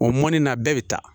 O mɔni na bɛɛ bɛ taa